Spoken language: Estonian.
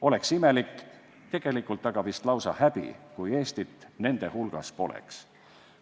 Oleks imelik – tegelikult aga vist lausa häbi –, kui Eestit nende hulgas poleks.